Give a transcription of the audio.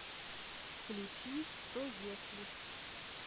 включи что если